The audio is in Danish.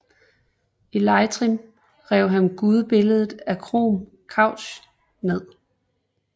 I Leitrim rev han gudebilledet af Crom Cruach ned